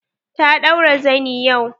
Ta ɗaura zani yau.